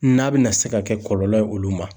N'a be na se ka kɛ kɔlɔlɔ ye olu ma.